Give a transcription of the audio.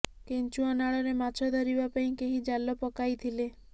କେଞ୍ଚୁଆ ନାଳରେ ମାଛ ଧରିବା ପାଇଁ କେହି ଜାଲ ପକାଇଥିଲେ